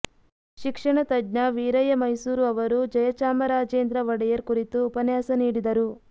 ಶಿಕ್ಷಣ ತಜ್ಞ ವೀರಯ್ಯ ಮೈಸೂರು ಅವರು ಜಯಚಾಮರಾಜೇಂದ್ರ ಒಡೆಯರ್ ಕುರಿತು ಉಪನ್ಯಾಸ ನೀಡಿದರು